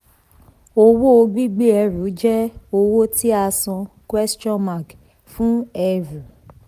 owó gbígbé ẹrù jẹ́ owó tí a san fún ẹrù.